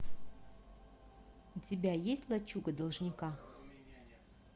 у тебя есть лачуга должника